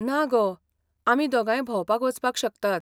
ना गो, आमी दोगांय भोंवपाक वचपाक शकतात.